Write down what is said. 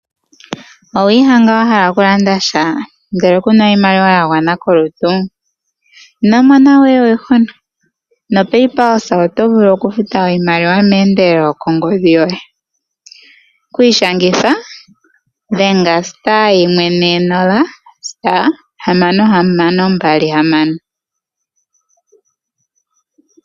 Owiihanga wahala oku landa sha ndele kuna oshimaliwa yawana kolutu? Ino mona we oihuna, no Paypulse oto vulu oku futa iimaliwa meendelelo kongodhi yoye. Okwiishangitha, dhenga *140*6626